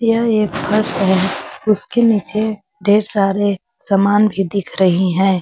यह एक फर्श है उसके नीचे ढेर सारे सामान भी दिख रही हैं।